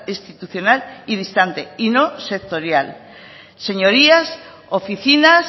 institucional y distante y no sectorial señorías oficinas